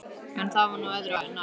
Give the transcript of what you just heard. En það var nú öðru nær.